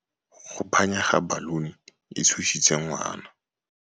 Go phanya ga baluni e tshositse ngwana.